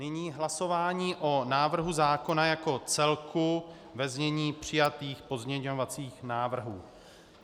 Nyní hlasování o návrhu zákona jako celku ve znění přijatých pozměňovacích návrhů.